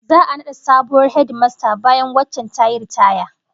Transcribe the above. Za'a nada sabuwar hedimasta bayan waccan tayi ritaya